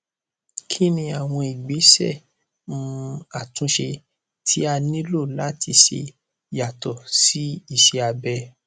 kí ni àwọn ìgbésẹ um àtúnṣe tí a nílò láti ṣe yàtọ sí iṣẹ abẹ